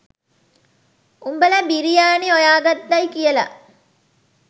උඹල බිරියානි හොයාගත්තයි කියල.